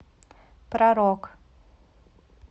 про рок